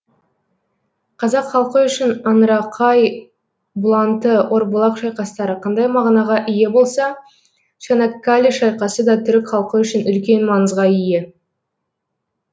қазақ халқы үшін аңырақай бұланты орбұлақ шайқастары қандай мағынаға ие болса чанаккале шайқасы да түрік халқы үшін үлкен маңызға ие